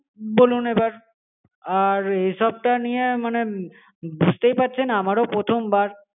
বলুন এবার আর এই সবটা নিয়ে মানে বুঝতেই পারছেন আমারও প্রথমবার